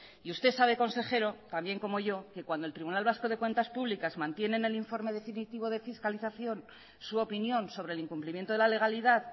y usted sabe consejero tan bien como yo que cuando el tribunal vasco de cuentas públicas mantiene en el informe definitivo de fiscalización su opinión sobre el incumplimiento de la legalidad